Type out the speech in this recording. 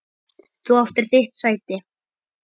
Þú áttir þitt sæti.